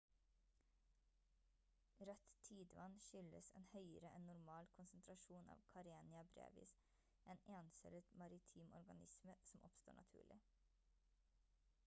rødt tidevann skyldes en høyere enn normal konsentrasjon av karenia brevis en encellet maritim organisme som oppstår naturlig